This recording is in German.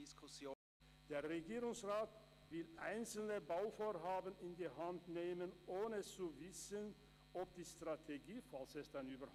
Der Regierungsrat will einzelne Bauvorhaben an die Hand nehmen, ohne zu wissen, ob die Strategie akzeptiert wird – sollte es denn eine geben.